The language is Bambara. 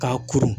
K'a kuru